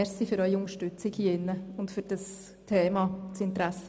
Danke für die Unterstützung hier im Saal.